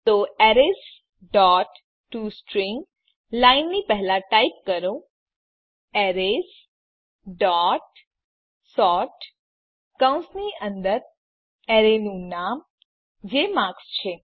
તો arrays dot toString લાઈનની પહેલા ટાઈપ કરો એરેઝ ડોટ સોર્ટ કૌંસની અંદર એરે નું નામ જે માર્ક્સ છે